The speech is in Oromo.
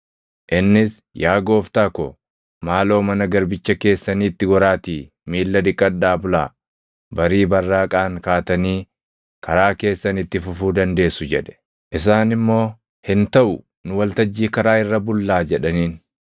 Innis, “Yaa gooftota ko, maaloo mana garbicha keessaniitti goraatii miilla dhiqadhaa bulaa; barii barraaqaan kaatanii karaa keessan itti fufuu dandeessu” jedhe. Isaan immoo, “Hin taʼu; nu waltajjii karaa irra bullaa” jedhaniin.